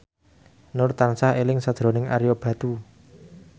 Nur tansah eling sakjroning Ario Batu